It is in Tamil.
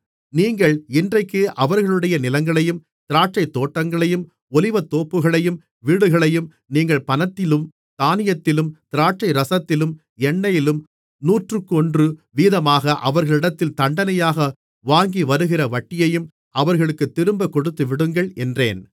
நீங்கள் இன்றைக்கு அவர்களுடைய நிலங்களையும் திராட்சைத்தோட்டங்களையும் ஒலிவத்தோப்புகளையும் வீடுகளையும் நீங்கள் பணத்திலும் தானியத்திலும் திராட்சைரசத்திலும் எண்ணெயிலும் நூற்றுக்கொன்று வீதமாக அவர்களிடத்தில் தண்டனையாக வாங்கிவருகிற வட்டியையும் அவர்களுக்குத் திரும்பக் கொடுத்துவிடுங்கள் என்றேன்